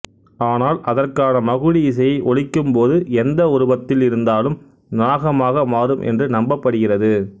ஆனால் அதற்கான மகுடி இசையை ஒலிக்கும் போது எந்த உருவத்தில் இருந்தாலும் நாகமாக மாறும் என்று நம்பப்படுகிறது